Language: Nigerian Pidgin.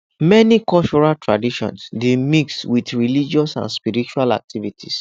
many cultural traditions dey mix with religious and spiritual activities